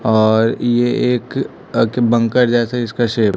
और ये एक अक बंकर जैसे इसका शेप --